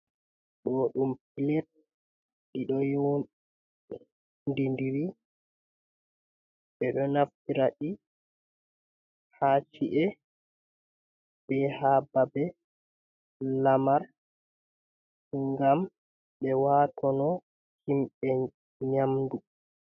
Doɗum plet iodidiri bedo naftirai haci’e be hababe lamar gam be watono himbe nyamdu.